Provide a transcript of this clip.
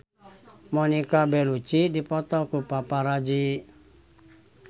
Monica Belluci dipoto ku paparazi